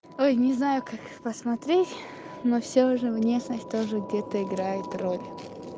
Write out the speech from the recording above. ой не знаю как посмотреть но всё же внешность тоже где-то играет роль